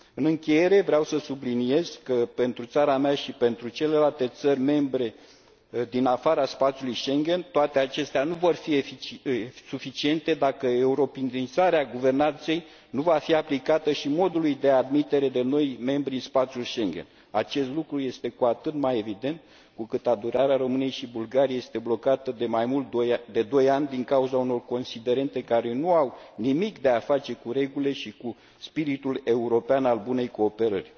În încheiere, vreau să subliniez că, pentru țara mea și pentru celelalte țări membre din afara spațiului Schengen, toate acestea nu vor fi suficiente, dacă europenizarea guvernanței nu va fi aplicată și modului de admitere de noi membri în spațiul Schengen. Acest lucru este cu atât mai evident, cu cât aderarea României și Bulgariei este blocată de mai mult de doi ani, din cauza unor considerente care nu au nimic de a face regulile și cu spiritul european al bunei cooperări.